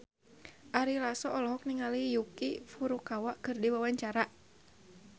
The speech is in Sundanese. Ari Lasso olohok ningali Yuki Furukawa keur diwawancara